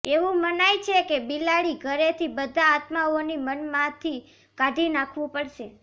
એવું મનાય છે કે બિલાડી ઘરેથી બધા આત્માઓની મનમાંથી કાઢી નાખવું પડશે